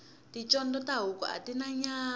ticondzo ta huku atina nyama